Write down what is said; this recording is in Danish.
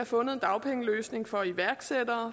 fundet en dagpengeløsning for iværksættere